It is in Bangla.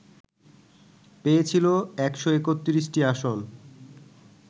পেয়েছিল ১৩১টি আসন